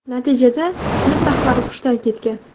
Natijada sinf rahbari hushidan ketgan.